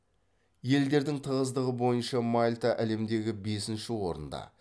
елдердің тығыздығы бойынша мальта әлемдегі бесінші орында